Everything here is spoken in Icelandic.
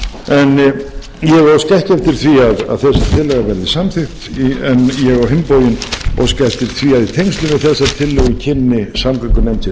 tillaga verði samþykkt en ég á hinn bóginn óska eftir því að í tengslum við þessa tillögu kynni samgöngunefnd sér